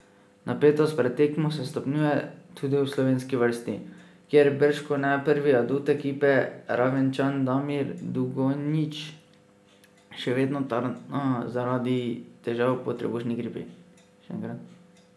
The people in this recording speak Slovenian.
Napetost pred tekmo se stopnjuje, tudi v slovenski vrsti, kjer bržkone prvi adut ekipe, Ravenčan Damir Dugonjić, še vedno tarna zaradi težav po trebušni gripi.